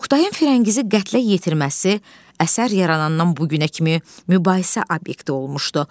Oqtayın Firəngizi qətlə yetirməsi əsər yaranandan bu günə kimi mübahisə obyekti olmuşdu.